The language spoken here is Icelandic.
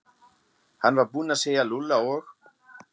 Hann var búinn að segja Lúlla og